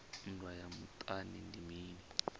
nndwa ya muṱani ndi mini